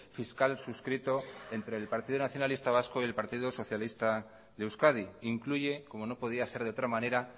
fiscal suscrito entre el partido nacionalista vasco y el partido socialista de euskadi incluye como no podía ser de otra manera